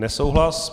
Nesouhlas.